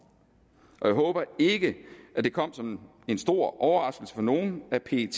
jeg håber ikke at det kom som en stor overraskelse for nogen at pet